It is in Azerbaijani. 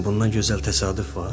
Bundan gözəl təsadüf var?